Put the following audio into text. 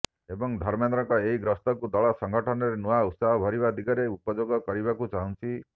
ଏବଂ ଧର୍ମେନ୍ଦ୍ରଙ୍କ ଏହି ଗସ୍ତକୁ ଦଳ ସଂଗଠନରେ ନୂଆ ଉତ୍ସାହ ଭରିବା ଦିଗରେ ଉପଯୋଗ କରିବାକୁ ଚାହୁଁଛି